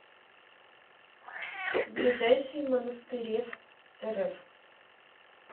ближайший монастыреврф